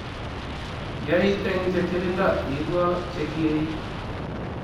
yai eng chepchepindo iibwo chekiei